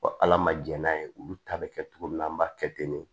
ala ma jɛn n'a ye olu ta be kɛ cogo min na an b'a kɛ ten de